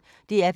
DR P1